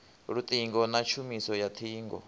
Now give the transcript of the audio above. luṱingo na tshumiso ya ṱhingo